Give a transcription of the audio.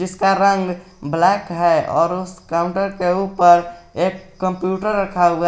उसका रंग ब्लैक है और उस काउंटर के ऊपर एक कंप्यूटर रखा हुआ--